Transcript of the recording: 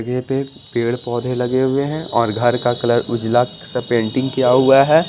जगह पे पेड़-पौधे लगे हुए हैं और घर का कलर उजला सा पेंटिंग किया हुआ है।